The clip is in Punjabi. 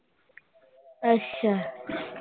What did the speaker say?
ਅੱਛਾ।